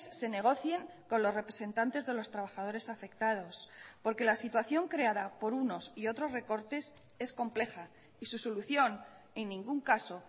se negocien con los representantes de los trabajadores afectados porque la situación creada por unos y otros recortes es compleja y su solución en ningún caso